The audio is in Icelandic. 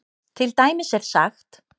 Til dæmis er sagt